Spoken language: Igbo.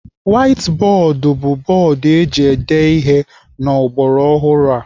Waiti bọọdụ bụ bọọdụ eji ede ihe n'ọgbaraọhụrụ a.